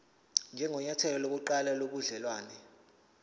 njengenyathelo lokuqala lobudelwane